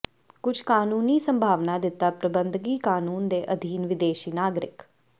ਕੁਝ ਕਾਨੂੰਨੀ ਸੰਭਾਵਨਾ ਦਿੱਤਾ ਪ੍ਰਬੰਧਕੀ ਕਾਨੂੰਨ ਦੇ ਅਧੀਨ ਵਿਦੇਸ਼ੀ ਨਾਗਰਿਕ